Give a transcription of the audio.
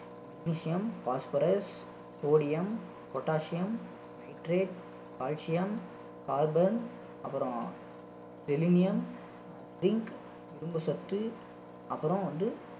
magnesium, phosphorus, sodium, potasium, nitrate, calcium, carbon அப்புறம் selenium, zinc இரும்பு சத்து அப்புறம் வந்து